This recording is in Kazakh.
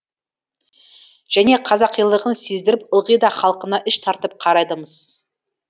және қазақилығын сездіріп ылғи да халқына іш тартып қарайды мыс